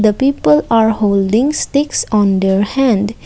the people are holding sticks on their hand.